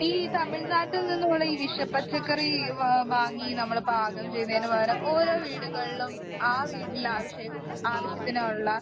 ഈ തമിഴ്‌നാട്ടീന്ന് ഉള്ള ഈ വിഷ പച്ചക്കറി വാങ്ങി നമ്മള് പാകം ചെയ്യുന്നതിന് പകരം ഓരോ വീട്ടിലും ആ വീ വീട്ടിലെ വീട്ടിലെ ആവശ്യത്തിനുള്ള